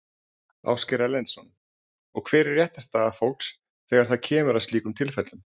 Ásgeir Erlendsson: Og hver er réttarstaða fólks þegar að það kemur að slíkum tilfellum?